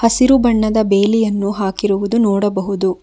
ಹಸಿರು ಬಣ್ಣದ ಬೇಲಿಯನ್ನು ಹಾಕಿರುವುದು ನೋಡಬಹುದು.